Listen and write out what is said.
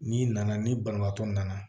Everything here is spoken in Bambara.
N'i nana ni banabaatɔ nana